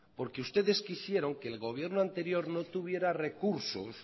porque ustedes quisieron que le gobierno anterior no tuviera recursos